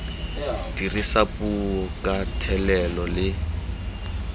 dirisa puo ka thelelo le